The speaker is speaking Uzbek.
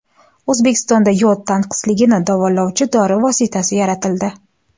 O‘zbekistonda yod tanqisligini davolovchi dori vositasi yaratildi.